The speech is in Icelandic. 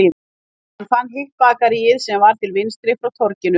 Hann fann hitt bakaríið sem var til vinstri frá torginu